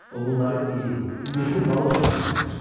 O bunları iri, güclü balıq üçün hazırlamışdı.